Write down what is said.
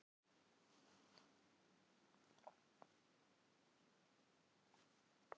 Spurningin í augunum var ótvíræð: Sjáumst við aftur?